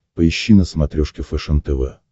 поищи на смотрешке фэшен тв